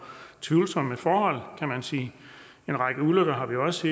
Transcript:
tvivlsomme forhold kan man sige en række ulykker har vi også